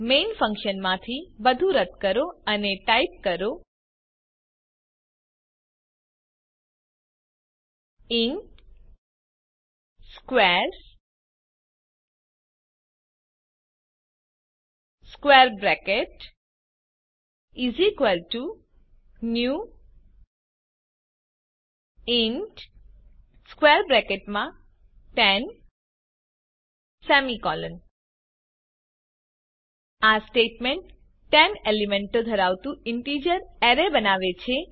main ફન્કશનમાંથી બધું રદ કરો અને ટાઇપ કરો ઇન્ટ સ્ક્વેર્સ ન્યૂ ઇન્ટ 10 આ સ્ટેટમેન્ટ 10 એલીમેન્ટો ધરાવતુ ઇન્ટિજર અરે બનાવે છે